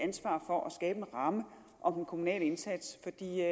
ansvar for at skabe en ramme om den kommunale indsats